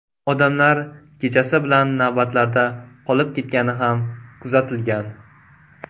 Odamlar kechasi bilan navbatlarda qolib ketgani ham kuzatilgan.